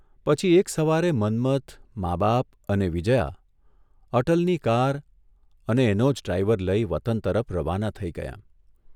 પછી એક સવારે મન્મથ, મા બાપ અને વિજયા અટલની કાર અને એનો જ ડ્રાઇવર લઇ વતન તરફ રવાના થઇ ગયાં.